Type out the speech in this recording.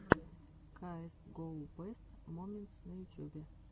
каэс гоу бэст моментс на ютюбе